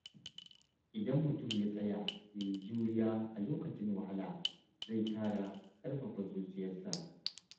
Idan mutum ya tsaya ya yi juriya a lokacin wahala, zai ƙara ƙarfafa zuciyarsa.